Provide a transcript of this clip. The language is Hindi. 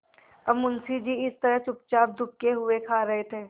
अब मुंशी जी इस तरह चुपचाप दुबके हुए खा रहे थे